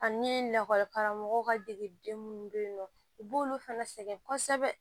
Ani lakɔli karamɔgɔw ka degeden minnu bɛ yen nɔ u b'olu fana sɛgɛn kosɛbɛ